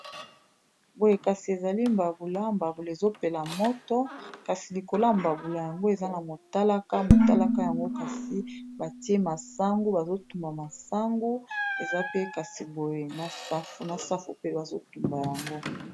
Boye kasi ezali mbabula, mbabula ezopela moto kasi likola mbabula yango eza na motalaka motalaka yango kasi batie masangu bazotumba masangu eza pe kasi boye na safu pe bazo tumba yango.